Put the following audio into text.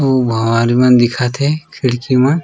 उ भवन मन दिखत हे खिड़की मन--